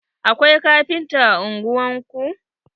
Akwai kafinta a ungwar ku?